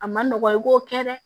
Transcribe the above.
A ma nɔgɔ i k'o kɛ dɛ